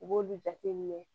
U b'olu jateminɛ